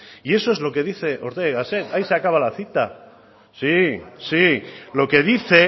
y eso es lo que dice ortega y gasset ahí se acaba la cita sí lo que dice